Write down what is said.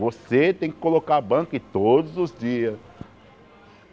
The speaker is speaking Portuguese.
Você tem que colocar a banca e todos os dias.